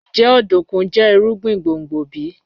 Njẹ ọdunkun jẹ irugbin gbongbo bi?